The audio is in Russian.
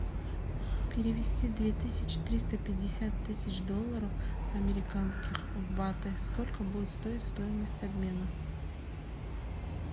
перевести две тысячи триста пятьдесят тысяч долларов американских в баты сколько будет стоить стоимость обмена